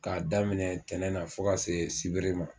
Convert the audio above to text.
K'a daminɛ ntɛnɛn na fo ka se sibiri ma